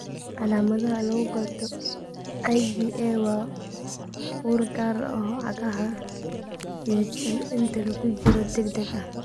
Calaamadda lagu garto IVA waa ur gaar ah oo cagaha dhididsan inta lagu jiro jirro degdeg ah.